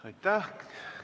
Aitäh!